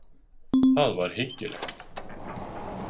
Það var hyggilegt.